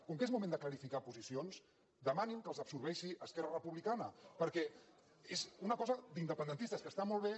com que és moment de clarificar posicions demanin que els absorbeixi esquerra republicana perquè és una cosa d’independentistes que està molt bé